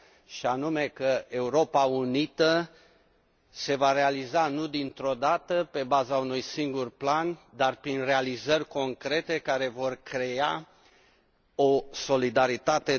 și anume că Europa unită se va realiza nu dintr odată, pe baza unui singur plan, dar prin realizări concrete care vor crea o solidaritate